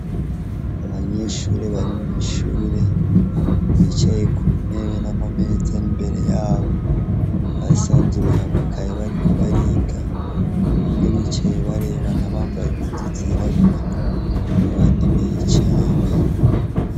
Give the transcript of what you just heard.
Abanyeshure bari mw'ishuri bicaye kuntebe n'amameza ar'imbere yabo; basanzuruye amakaye bariko bariga. Bamwe bicaye barebana bambaye impuzu zirabura abandi biyicaranye.